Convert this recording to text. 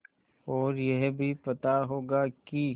और यह भी पता होगा कि